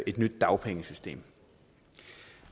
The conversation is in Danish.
et nyt dagpengesystem